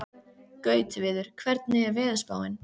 Gautviður, hvernig er veðurspáin?